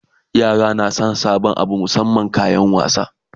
yara na San sabon Abu musamman kayan wasa